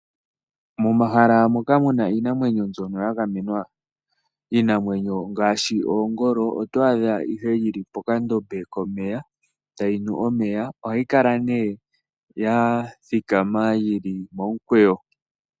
Momahala moka muna iinamwenyo mbyono ya gamenwa iinamwenyo ngaashi oongolo oto adha ihe yili pokandombe komeya tayi nu omeya ohayi kala ne ya thikama yili momukweyo.